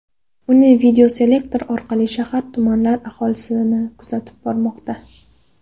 Uni videoselektor orqali shahar va tumanlar aholisi kuzatib bormoqda.